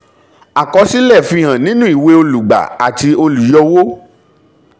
àkọsílẹ̀ fi hàn nínú ìwé olùgbà àti olùyọwó